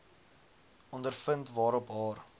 ondervind waarop haar